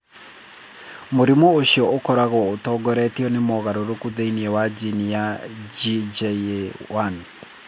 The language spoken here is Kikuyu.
Mũrimũ ũcio ũkoragwo ũtongoretio nĩ mogarũrũku thĩinĩ wa jini ya GJA1.